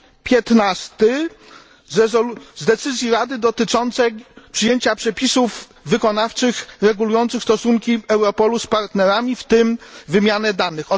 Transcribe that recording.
15 decyzji Rady dotyczącej przyjęcia przepisów wykonawczych regulujących stosunki Europolu z partnerami, w tym wymianę danych.